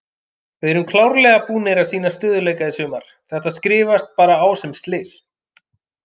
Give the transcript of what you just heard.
Við erum klárlega búnir að sýna stöðugleika í sumar, þetta skrifast bara á sem slys.